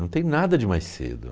Não tem nada de mais cedo.